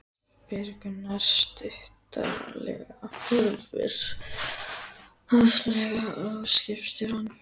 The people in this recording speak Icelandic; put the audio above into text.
spyr Gunnar stuttaralega, horfir háðslega á skipstjórann.